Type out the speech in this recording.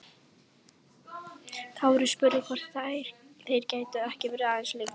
Kári spurði hvort þeir gætu ekki verið aðeins lengur.